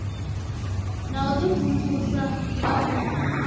na u imvumvusa nga u